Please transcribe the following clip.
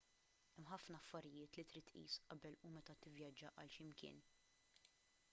hemm ħafna affarijiet li trid tqis qabel u meta tivvjaġġa għal x'imkien